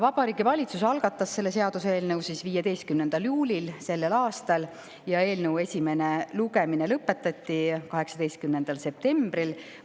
Vabariigi Valitsus algatas seaduseelnõu selle aasta 15. juulil ja eelnõu esimene lugemine lõpetati 18. septembril.